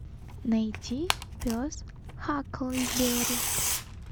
найти пес хакльберри